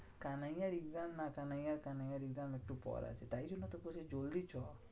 কানাইয়ার exam না কানাইয়া কানাইয়ার exam একটু পরে আছে। তাই জন্য তোকে বলছি জলদি চো।